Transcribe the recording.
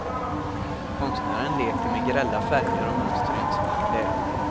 Konstnären leker med grälla färger och mönster i en svart lägenhet.